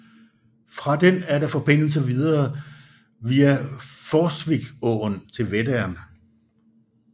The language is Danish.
Fra den er der forbindelse videre via Forsviksåen til Vättern